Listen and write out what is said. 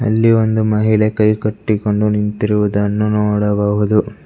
ಅಲ್ಲಿ ಒಂದು ಮಹಿಳೆ ಕೈಕಟ್ಟಿಕೊಂಡು ನಿಂತಿರುವುದನ್ನು ನೋಡಬಹುದು.